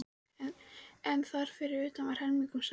En þar fyrir utan var heilmikill samgangur.